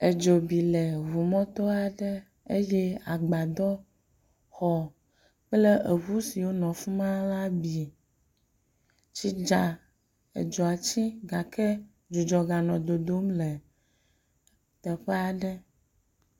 Edzo bi le ŋu mɔto aɖe eye agbadɔxɔ kple eŋu siwo le afi ma la bi. Tsi dza edzoa tsi gake dzudzɔ ganɔ dodom le teƒe aɖe.